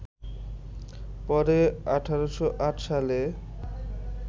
পরে ১৮০৮ সালে